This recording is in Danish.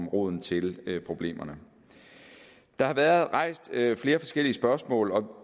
roden til problemerne der har været rejst flere forskellige spørgsmål og